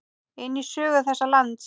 inn í sögu þessa lands.